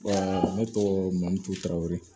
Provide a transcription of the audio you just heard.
ne tɔgɔ mamutu tarawere